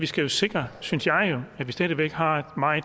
skal sikre synes jeg at vi stadig væk har